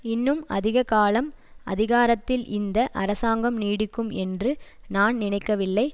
இன்னும் அதிக காலம் அதிகாரத்தில் இந்த அரசாங்கம் நீடிக்கும் என்று நான் நினைக்கவில்லை